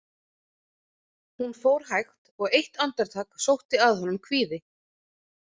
Hún fór hægt og eitt andartak sótti að honum kvíði.